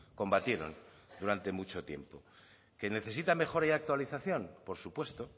combatieron durante mucho tiempo que necesita mejora y actualización por supuesto